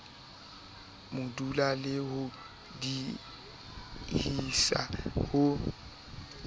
modula le ho diehisa ho